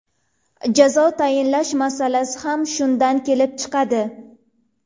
Jazo tayinlash masalasi ham shundan kelib chiqadi.